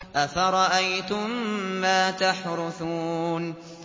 أَفَرَأَيْتُم مَّا تَحْرُثُونَ